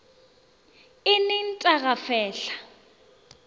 eneng t a go fehla